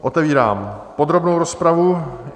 Otevírám podrobnou rozpravu.